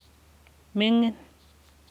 ming'in